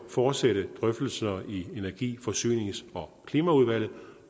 fortsætte drøftelserne i energi forsynings og klimaudvalget